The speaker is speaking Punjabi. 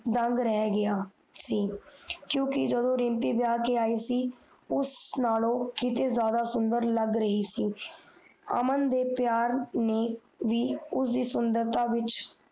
ਦੰਗ ਰੈਗ ਗਯਾ ਸੀ ਕਿਉਕਿ ਜਦੋ ਰਿਮਪੀ ਵਿਆਹ ਕੇ ਈ ਸੀ ਉਸ ਨਾਲੋਂ ਜਾਈਦਾ ਸੁੰਦਰ ਲੱਗ ਰਹੀ ਸੀ ਅਮਨ ਦੇ ਪਿਆਰ ਨੇ ਵੀ ਉਸ ਦੀ ਸੁੰਦਰਤਾ ਵਿਚ